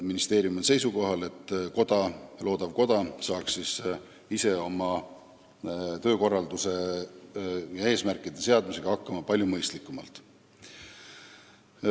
Ministeerium on seisukohal, et loodav koda saaks ise oma töökorralduse loomisega ja eesmärkide seadmisega hakkama palju mõistlikumalt.